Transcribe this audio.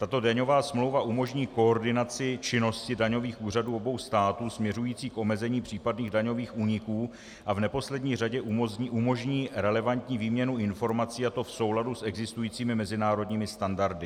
Tato daňová smlouva umožní koordinaci činnosti daňových úřadů obou států směřující k omezení případných daňových úniků a v neposlední řadě umožní relevantní výměnu informací, a to v souladu s existujícími mezinárodními standardy.